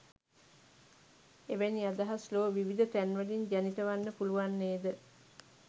එවැනි අදහස් ලොව විවිධ තැන්වලින් ජනිත වන්න පුළුවන් නේද?